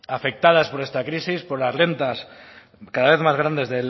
afectadas por esta crisis por las rentas cada vez más grandes